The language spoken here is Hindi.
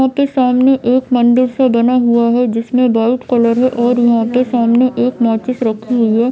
यहाँ पे सामने एक मंदिर सा बना हुआ है जिसमे वाइट कलर है और यहाँ के सामने माचिस रखी हुई है।